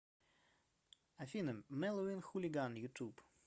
афина меловин хулиган ютуб